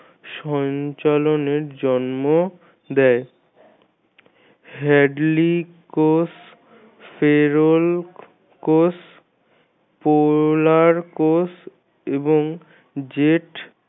সঞ্চালনের জন্ম দেয়। hadley কোষ feral কোষ polar কোষ এবং jet